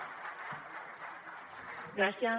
gràcies